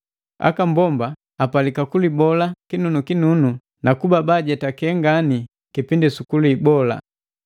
Aka mbomba apalika kulibola kinunukinunu nakuba bajetake ngani kipindi su kulibola.